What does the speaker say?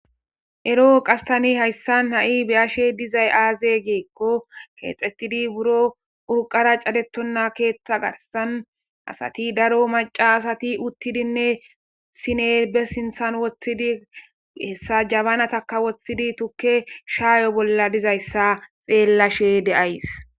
eroo qas tani hayssan ha7i beyashe dizay aaze geekko keexetidi buro urqara cadetonna keeththa garsan asati daro maca asati uttidinne sine be sinthan woththidi hessa jabanatakka woththidi tukke shaayo bolla dizayssa xeellashe de7ays